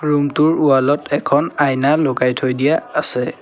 Room টোৰ wall ত এখন আইনা লগাই থৈ দিয়া আছে।